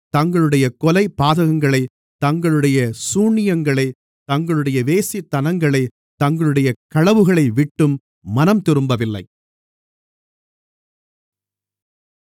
தங்களுடைய கொலைபாதகங்களை தங்களுடைய சூனியங்களை தங்களுடைய வேசித்தனங்களை தங்களுடைய களவுகளைவிட்டும் மனம்திரும்பவில்லை